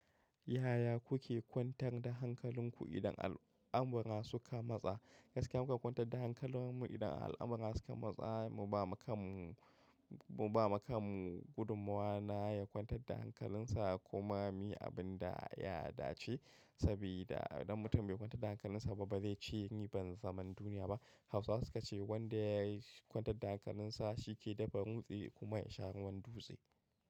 Yaya kuke kwantar da hankalinku idan al'amura suka matsa? Gaskiya muka kwantar da hankalarmu idan al'amura suka matsa mu bama kanmu mu bama kanmu gudunmawa na ya kwantar da hankalinsa. Kuma ni abin da ya dace saboda idan mutum bai kwantar da hankalinsa ba zai ci riban zaman duniya ba. Hausawa sukace wanda ya yi kwantar da hankalinsa shi ke dafa nutse kuma ya sha ruwan dutse.